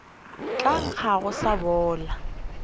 tla nkga go sa bola